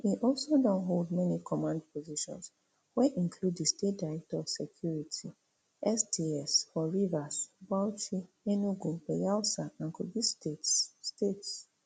e also don hold many command positions wey include di state director of security sds for rivers bauchi enugu bayelsa and kogi states states